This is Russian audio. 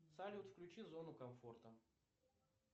салют включи зону комфорта